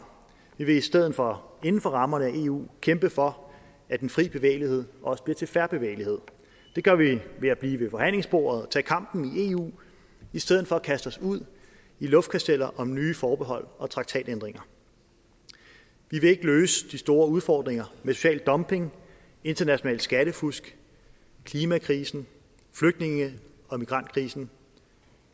vi vil i stedet for inden for rammerne af eu kæmpe for at den fri bevægelighed også bliver til fair bevægelighed det gør vi ved at blive ved forhandlingsbordet og tage kampen i eu i stedet for at kaste os ud i luftkasteller om nye forbehold og traktatændringer vi vil ikke løse de store udfordringer med social dumping international skattefusk klimakrisen flygtninge og migrantkrisen